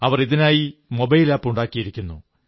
അവർ ഇതിനായി mobile app ഉണ്ടാക്കിയിരിക്കുന്നു